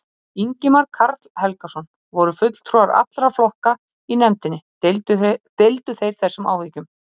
Ingimar Karl Helgason: Voru fulltrúar allra flokka í nefndinni, deildu þeir þessum áhyggjum?